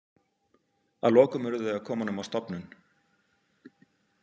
Að lokum urðu þau að koma honum á stofnun.